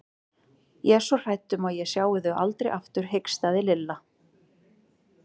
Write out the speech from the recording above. Ég er svo hrædd um að ég sjái þau aldrei aftur hikstaði Lilla.